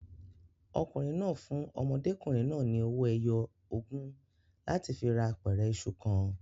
Ọkùnrin náà fún ọmọdékùnrin náà ni owó ẹyọ ogún láti fi ra apẹ̀rẹ̀ iṣu kan.